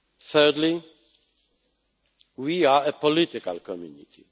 Thirdly, we are a political community.